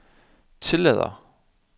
tillader